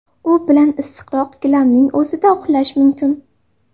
U bilan issiqroq, gilamning o‘zida uxlash mumkin.